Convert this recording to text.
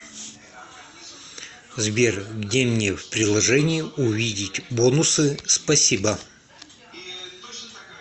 сбер где мне в приложении увидеть бонусы спасибо